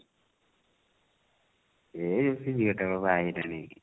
ଏ ସେଇ ଯଉ ଝିଅ ଟା ମ ବାହା ହେଇଗଲାନି କି